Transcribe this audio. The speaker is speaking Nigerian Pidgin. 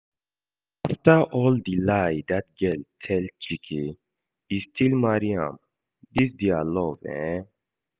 After all the lie that girl tell Chike, e still marry am, dis dia love eh